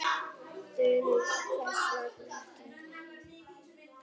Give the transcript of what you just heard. Þulur: Hvers vegna ekki?